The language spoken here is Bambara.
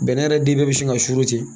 Bɛnɛ yɛrɛ den bɛɛ bɛ sin ka suru ten